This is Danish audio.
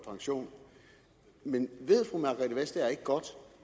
pension men ved fru margrethe vestager ikke godt